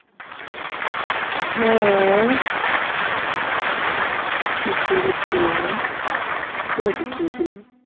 হ্যাঁ চুপ করে ছিলাম। কোথায় চুপ করে ছিলাম?